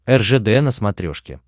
ржд на смотрешке